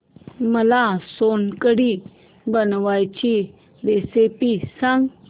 मला सोलकढी बनवायची रेसिपी सांग